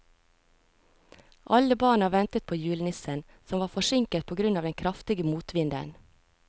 Alle barna ventet på julenissen, som var forsinket på grunn av den kraftige motvinden.